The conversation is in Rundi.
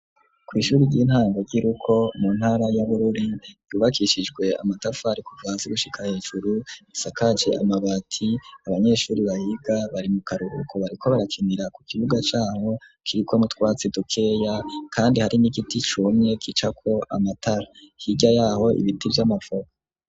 Kw'ishuri ry'intango, ry'i Ruko, mu ntara ya Bururi, ryubakishijwe amatafari, kuva hasi, gushika hejuru, risakaje amabati; abanyeshuri bahiga, bari mu karuhuko, bariko barakinira, ku kibuga c'aho, kiriko n'utwatsi dukeya, kandi hari n'igiti cumye, gicako amatara; hirya y'aho ibiti vy'amavoka.